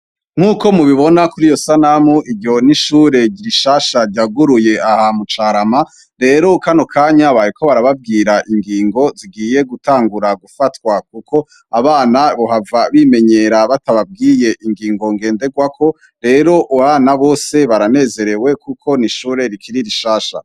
nk'uko mubibona kuri iyo sanamu, iryo n'ishure rishasha ryuguruye aha mu carama, rero kano kanya bariko barababwira ingingo zigiye gutangura gufatwa kuko abana bohava bimenyera batababwiye ingingo ngendegwako, rero ubu abana bose baranezerewe kuko n'ishure rikiri rishasha.